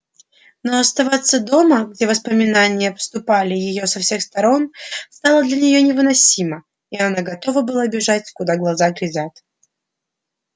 но оставаться дома где воспоминания обступали её со всех сторон стало для неё невыносимо и она готова была бежать куда глаза глядят